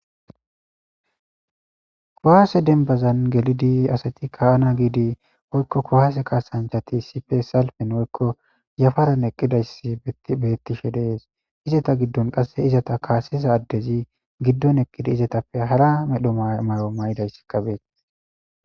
Kohaase denbazan gelidi asati ka'ana giidi woykko kohase kaasanchati sife salpen woykko yafaran eqqidayssi beettishe dees izata giddon qasse izata kaasiza addezi giddon eqqida izatappe hara medho may'o may'idayss kabee.